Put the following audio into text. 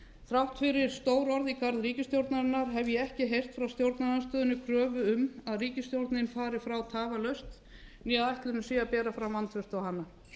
þrátt fyrir stór orð í garð ríkisstjórnarinnar hef ég ekki heyrt frá stjórnarandstöðunni kröfu um að ríkisstjórnin fari frá tafarlaust né að ætlunin sé að bera fram vantraust á hana